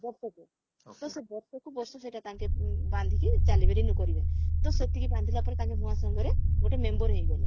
ବର୍ଷକୁ ତ ସେ ବର୍ଷକୁ ବର୍ଷ ସେଟା ତାଙ୍କେ ଉଁ ବାନ୍ଧିକି ଚାଲିବେ renew କରିବେ ତ ସେତିକି ବାନ୍ଧିଲା ପରେ ତାଙ୍କେ ମହାସଂଘରେ ଗୋଟେ member ହେଇଗଲେ